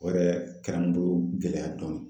O yɛrɛ kɛra n bolo gɛlɛya dɔɔni.